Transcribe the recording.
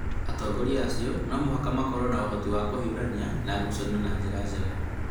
atongoria acio no mũhaka makorũo na ũhoti wa kũhiũrania na ngucanio na njĩra njega